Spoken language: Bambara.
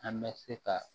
An bɛ se ka